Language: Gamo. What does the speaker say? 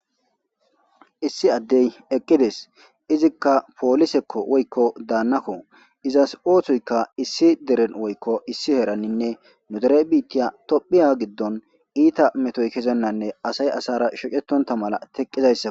Issi addey eqqides izikka poolisekko woykko daannakko izas oosoyka issi deren woykko issi heraninne nudere biitiya tophiya giddon iita metoy kezennanne asay asara shocetonta mala teqqizayssak.